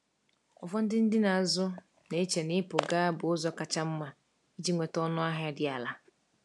Ụfọdụ ndị na-azụ na-eche na ịpụ gaa bụ ụzọ kacha mma iji nweta ọnụahịa dị ala.